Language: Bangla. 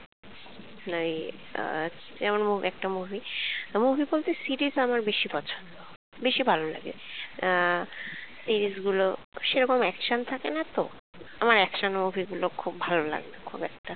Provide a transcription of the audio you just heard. like আহ যেমন একটা মোঃ একটা movie movie বলতে series আমার বেশি পছন্দ বেশি ভালো লাগে আহ series গুলো তেমন action থাকে না তো আমার action movie গুলো বেশি ভালো লাগে না খুব একটা